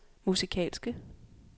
musikalske